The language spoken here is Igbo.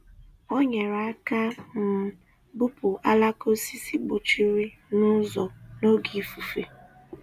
Ọ nyere aka um bupu alaka osisi gbochiri n’ụzọ n’oge ifufe.